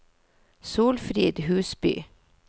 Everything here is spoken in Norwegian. Solfrid Huseby